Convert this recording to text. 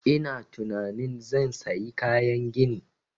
Ina tunanin zan sayi kayan gini